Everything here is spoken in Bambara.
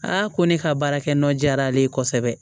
ko ne ka baarakɛ nɔ jara ale ye kosɛbɛ